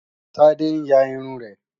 Tádé ń ya irun rẹ̀